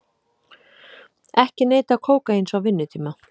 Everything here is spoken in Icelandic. Ekki neyta kókaíns á vinnutíma